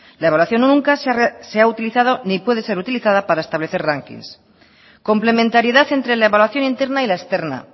la evaluación nunca se ha utilizada ni puede ser utilizada parea establece rankings complementariedad entre la evaluación interna y la externa